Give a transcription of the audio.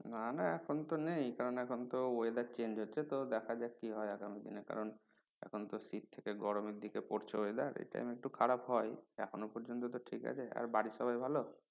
না না এখন তো নেই কারন এখন তো weather change হচ্ছে তো দেখা যাক কি হয় আগামী দিনে কারন এখন তো শীত থেকে গরমের দিকে পড়ছে weather এই time এ একটু খারাপ হয় এখনো পর্যন্ত তো ঠিক আছে আর বাড়ির সবাই ভালো?